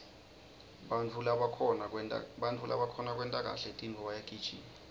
bantfu labakhona kwenta kahle tintfo bayagijima